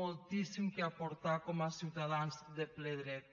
moltíssim que aportar com a ciutadans de ple dret